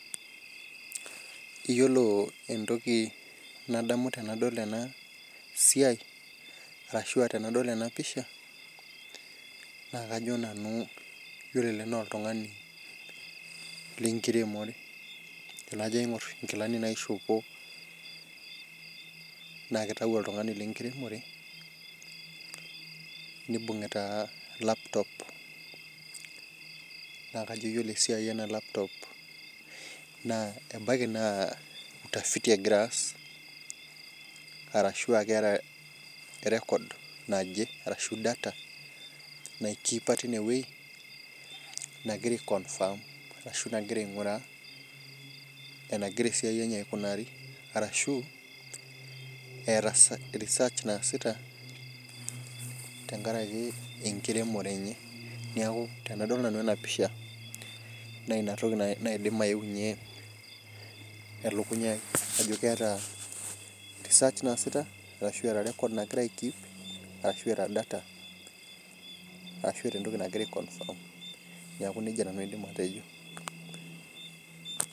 Iyiolo entoki nadamu tenadol ena siai, arashu tenadol ena pisha. naa iyiolo ele naa oltungani. lenkiremore. tenajo adol nkilani naishoopo naa kitau oltungani lenkiremore, nibung'ita laptop nss kajo ore esiai ena laptop naa ebaiki naa utafiti egira aas. arashu aa keeta record naje arashu data nai keep teine wueji. nagira ai confirm ashu nagira ainguraa enagira esiai enye aikunari, arashu, eeta research naasita, tenkaraki enkiremore enye. neeku tenadol nanu e a pisha Nas inatoki naidim ayeu ninye, elukunya ai.sjo keeta research naasita ashu eeta data ashu eeta entoki nagira ai confirm neeku nejia nanu aidim atejo .